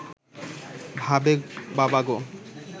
ভাবে বাবা গো